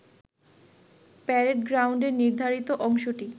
parade গ্রাউন্ডের নির্ধারিত অংশটি